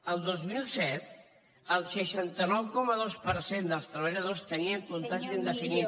el dos mil set el seixanta nou coma dos per cent dels treballadors tenia contracte indefinit